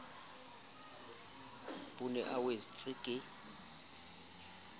o ne a wetswe ke